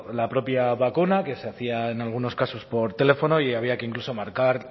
la propia vacuna que se hacía en algunos casos por teléfono y había que incluso marcar